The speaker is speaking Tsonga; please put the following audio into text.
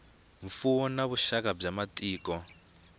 mfuwo na vuxaka bya matiko